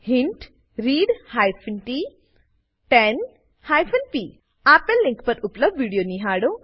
hint read t 10 p આપેલ link પર ઉપલબ્ધ વિડીયો નિહાળો